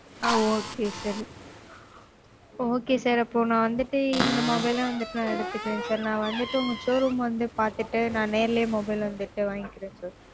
ஆஹ் okay sir okay sir அப்போ நா வந்துட்டு இந்த mobile ஏ வந்துட்டு எடுத்துகிறேன் sir நா வந்துட்டு உங்க showroom வந்து பாத்துட்டு நா நேர்லயே mobile வந்துட்டு வாங்கிக்கிறேன் sir